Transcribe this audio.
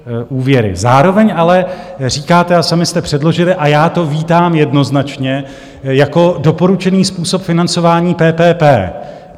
Zároveň ale říkáte - a sami jste předložili a já to vítám jednoznačně - jako doporučený způsob financování PPP.